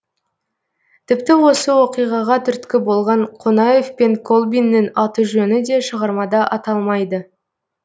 тіпті осы оқиғаға түрткі болған қонаев пен колбиннің аты жөні де шығармада аталмайды